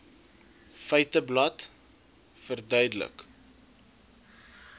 feiteblad verduidelik